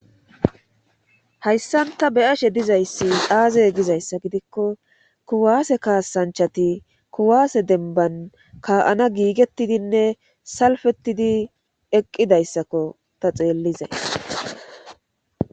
hayssan taa be'ashe dizayssi aaze gizayssa gidikko kuwaase kaasanchati kuwaase denban ka'ana giigettidinne salfettidi eqqidayssakko ta xeellizays